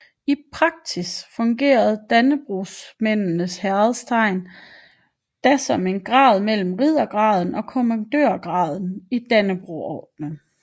I praksis fungerede Dannebrogsmændenes Hæderstegn da som en grad mellem riddergraden og kommandørgraden i Dannebrogordenen